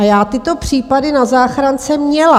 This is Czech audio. A já tyto případy na záchrance měla.